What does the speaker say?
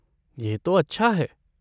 यह तो अच्छा है।